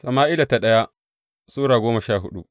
daya Sama’ila Sura goma sha hudu